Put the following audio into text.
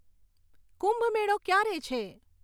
કુંભમેળો ક્યારે છે